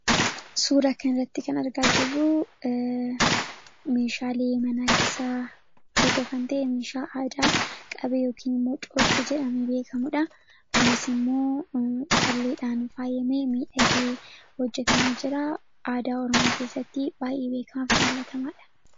Suura kanarratti kan argaa jirru meeshaalee manaa keessaa tokko kan ta'e meeshaa aadaa qabee yookiin immoo coocee jedhamuun beekkamudha. Kunisimmoo calleedhaan kan faayamee, miidhagee hojjatamee jira. Aadaa oromoo keessatti baayyee beekkamaaf jaallatamaadha.